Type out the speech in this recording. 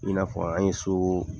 I na fɔ an ye so